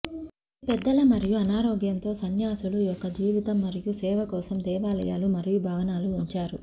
ఇది పెద్దల మరియు అనారోగ్యంతో సన్యాసులు యొక్క జీవితం మరియు సేవ కోసం దేవాలయాలు మరియు భవనాలు ఉంచారు